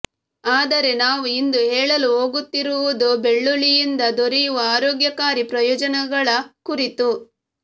ಆದರೆ ನಾವು ಇಂದು ಹೇಳಲು ಹೋಗುತ್ತಿರುವುದು ಬೆಳ್ಳುಳ್ಳಿಯಿಂದ ದೊರೆಯುವ ಆರೋಗ್ಯಕಾರಿ ಪ್ರಯೋಜನಗಳ ಕುರಿತು